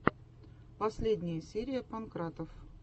последняя серия панкратов